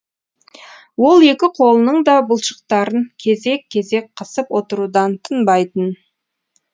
ол екі қолының да бұлшықтарын кезек кезек қысып отырудан тынбайтын